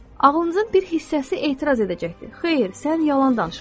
Ağlınızın bir hissəsi etiraz edəcəkdir: Xeyr, sən yalan danışırsan.